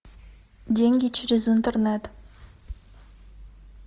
деньги через интернет